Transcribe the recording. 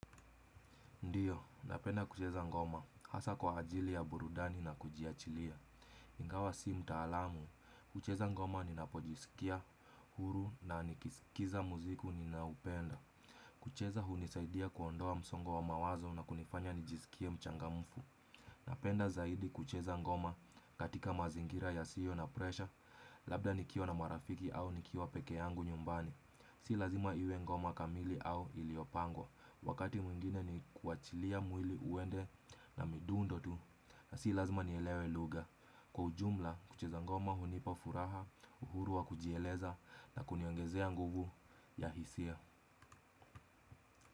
Ndiyo, napenda kucheza ngoma hasa kwa ajili ya burudani na kujiachilia. Ingawa si mtaalamu, kucheza ngoma ninapojisikia, huru na nikisikiza muziki ninaoupenda. Kucheza hunisaidia kuondoa msongo wa mawazo na kunifanya nijisikie mchangamfu. Napenda zaidi kucheza ngoma katika mazingira yasiyo na presha, labda nikiwa na marafiki au nikiwa peke yangu nyumbani. Si lazima iwe ngoma kamili au iliyopangwa. Wakati mwingine ni kuachilia mwili uende na midundo tu. Na si lazima nielewe lugha. Kwa ujumla, kucheza ngoma hunipa furaha, uhuru wa kujieleza na kuniongezea nguvu ya hisia.